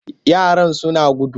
Yaran sun gudu.